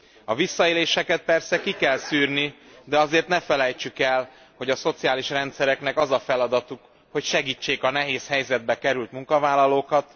A visszaéléseket persze ki kell szűrni, de azért ne felejtsük el, hogy a szociális rendszereknek az a feladatuk, hogy segítsék a nehéz helyzetbe került munkavállalókat.